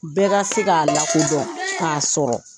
Bɛɛ ka se ka lakodɔn ka sɔrɔ.